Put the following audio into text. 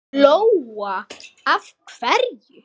Lóa: Af hverju?